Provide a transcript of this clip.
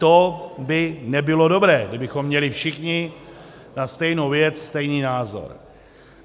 To by nebylo dobré, kdybychom měli všichni na stejnou věc stejný názor.